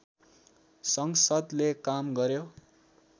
संसद्ले काम गर्‍यो